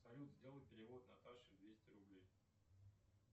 салют сделай перевод наташе двести рублей